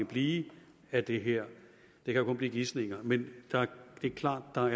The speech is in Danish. blive af det her det kan kun blive gisninger men det er klart at